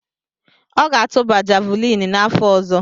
Ọ ga-atụba javuliini n’afọ ọzọ.